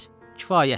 Kifayətdir!